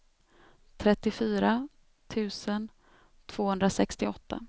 trettiofyra tusen tvåhundrasextioåtta